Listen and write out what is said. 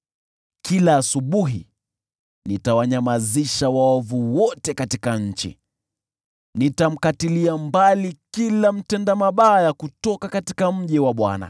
Kila asubuhi nitawanyamazisha waovu wote katika nchi; nitamkatilia mbali kila mtenda mabaya kutoka mji wa Bwana .